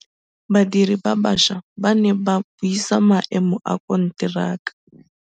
Badiri ba baša ba ne ba buisa maêmô a konteraka.